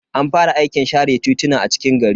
An fara aikin share tituna a cikin gari.